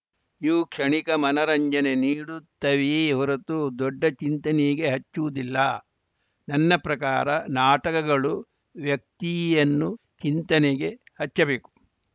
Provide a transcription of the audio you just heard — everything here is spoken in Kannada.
ಇವು ಕ್ಷಣಿಕ ಮನರಂಜನೆ ನೀಡುತ್ತವೆಯೇ ಹೊರತು ದೊಡ್ಡ ಚಿಂತನೆಗೆ ಹಚ್ಚುವುದಿಲ್ಲ ನನ್ನ ಪ್ರಕಾರ ನಾಟಕಗಳು ವ್ಯಕ್ತಿಯನ್ನು ಚಿಂತನೆಗೆ ಹಚ್ಚಬೇಕು